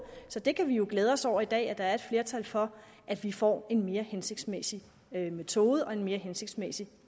så det kan vi jo glæde os over i dag nemlig at der er et flertal for at vi får en mere hensigtsmæssig metode og en mere hensigtsmæssig